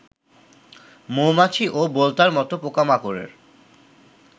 মৌমাছি ও বোলতার মত পোকামাকড়ের